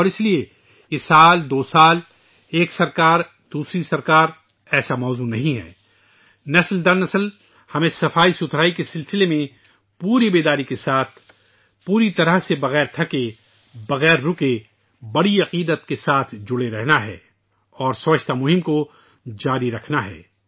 اور اس طرح یہ سال دو سال ، ایک حکومت سےدوسری حکومت تک کے لیےایسا موضوع نہیں ہے ، نسل در نسل ، ہمیں صفائی کے بارے میں آگاہی کے ساتھ ، بغیر تھکے ، بغیر رکے بڑی عقیدت کے ساتھ مسلسل جڑے رہنا ہے اور صفائی کی مہم کو جاری رکھنا ہے